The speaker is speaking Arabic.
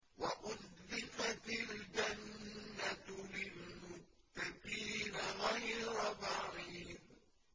وَأُزْلِفَتِ الْجَنَّةُ لِلْمُتَّقِينَ غَيْرَ بَعِيدٍ